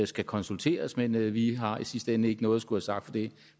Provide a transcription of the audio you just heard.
skal konsulteres men vi har i sidste ende ikke noget at skulle have sagt for det er